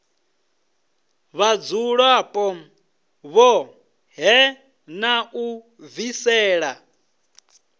vhadzulapo vhoṱhe na u bvisela